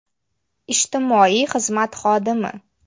Ijtimoiy xizmat xodimi.